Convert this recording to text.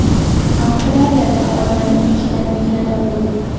Avstraliyada olmaning ichidan igna topildi.